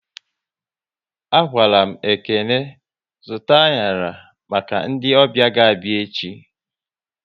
A gwaram Ekene zụta anyara maka ndị ọbịa ga abịa echi